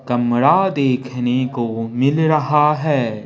कमरा देखने को मिल रहा है।